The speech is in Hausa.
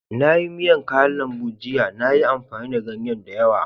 Na yi miyan kayan lambu jiya. Na yi amfani da ganye da yawa.